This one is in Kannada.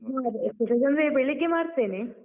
ಅದೇ exercise ಅಂದ್ರೆ ಬೆಳಿಗ್ಗೆ ಮಾಡ್ತೇನೆ.